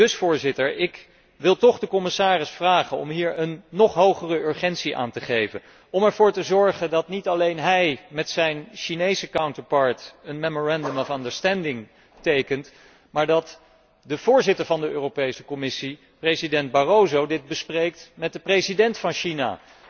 Dus Voorzitter, ik wil toch de commissaris vragen om hier een nog hogere urgentie aan te geven om ervoor te zorgen dat niet alleen hij met zijn Chinese counterpart een memorandum of understanding tekent, maar dat de voorzitter van de Europese Commissie, president Barroso, dit bespreekt met de president van China,